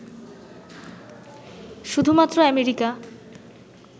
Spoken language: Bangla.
শুধুমাত্র আমেরিকা